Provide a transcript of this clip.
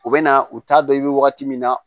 U bɛ na u t'a dɔn i bɛ wagati min na